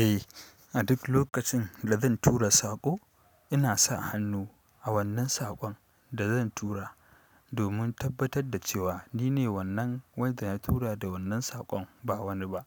Eh, a duk lokacin da zan tura saƙo, ina sa hannu, a wannan saƙon da zan tura, domin tabbatar da cewa nine wannan wanda ya tura da wannan saƙon, ba wani ba.